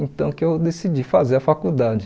Então que eu decidi fazer a faculdade.